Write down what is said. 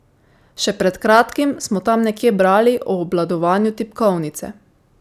Še pred kratkim smo tam nekje brali o obvladovanju tipkovnice!